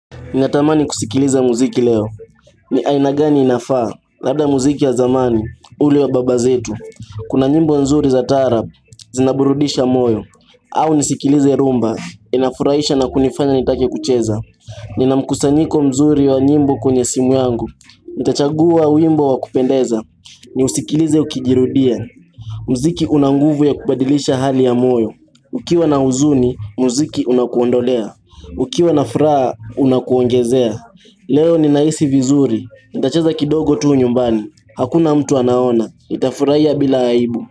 Ninatamani kusikiliza muziki leo, ni aina gani inafaa? Labda muziki ya zamani, ule wa baba zetu, kuna nyimbo nzuri za taarab, zinaburudisha moyo, au nisikilize rumba, inafurahisha na kunifanya nitake kucheza. Ninamkusanyiko mzuri wa nyimbo kwenye simu yangu, nitachagua wimbo wa kupendeza, niusikilize ukijirudia. Muziki una nguvu ya kubadilisha hali ya moyo. Ukiwa na huzuni, mziki unakuondolea. Ukiwa na furaha, unakuongezea. Leo ninahisi vizuri. Nitacheza kidogo tu nyumbani. Hakuna mtu anaona. Nitafurahia bila aibu.